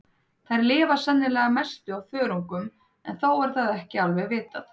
Þær lifa sennilega að mestu á þörungum en þó er það ekki alveg vitað.